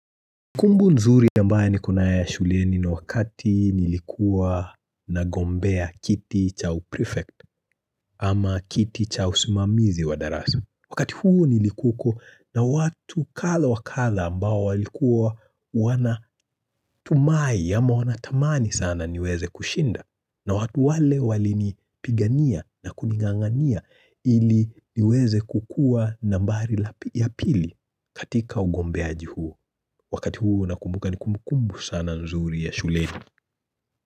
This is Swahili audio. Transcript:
Kumbu nzuri ambae nikonaye ya shuleni ni wakati nilikuwa nagombea kiti cha uprefect ama kiti cha usumamizi wa darasi. Wakati huo nilikuoko na watu kadha wakadha ambao walikuwa wanatumai ama wanatamani sana niweze kushinda. Na watu wale walini pigania na kuning'ang'ania ili niweze kukuwa nambari la yapili katika ugombeaji huo. Wakati huu nakumbuka ni kumbukumbu sana nzuri ya shuleni.